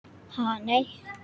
Ha nei.